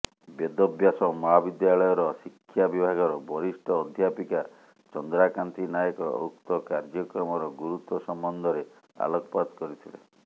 ବେଦବ୍ୟାସ ମହାବିଦ୍ୟାଳୟର ଶିକ୍ଷା ବିଭାଗର ବରିଷ୍ଠ ଅଧ୍ୟାପିକା ଚନ୍ଦ୍ରାକାନ୍ତି ନାୟକ ଉକ୍ତ କାର୍ଯ୍ୟକ୍ରମର ଗୁରୁତ୍ୱ ସମ୍ବନ୍ଧରେ ଆଲୋକପାତ କରିଥିଲେ